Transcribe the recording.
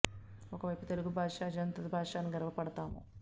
ఒక వైపు తెలుగు భాష అజంత భాష అని గర్వపడుతాము